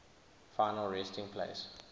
final resting place